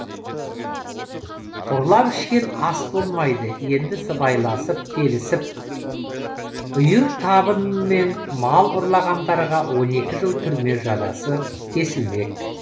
ұрлап ішкен ас болмайды енді сыбайласып келісіп үйір табынымен мал ұрлағандарға он екі жыл түрме жазасы кесілмек